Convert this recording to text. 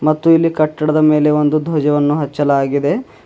ಮತ್ತು ಇಲ್ಲಿ ಕಟ್ಟದ ಮೇಲೆ ಒಂದು ಧ್ವಜವನ್ನು ಹಚ್ಚಲಾಗಿದೆ.